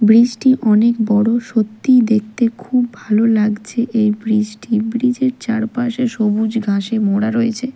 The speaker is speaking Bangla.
ব্রিজ -টি অনেক বড় সত্যিই দেখতে খুব ভালো লাগছে এই ব্রিজ -টি ব্রিজ -এর চারপাশে সবুজ ঘাসে মোড়া রয়েছে।